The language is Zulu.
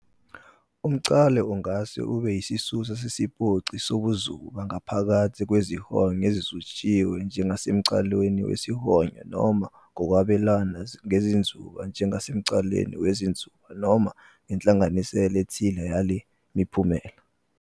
Umnqalo ungase ube yisisusa sesiphoqi sobuzuba ngaphakathi kwezihonyo ezizutshiwe njengasemnqalweni wesihonyo noma ngokwabelana ngezinzuba njengasemnqalweni wezinzuba, noma ngenhlanganisela ethile yale miphumela.